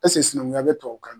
sinankunya be tubabukan na?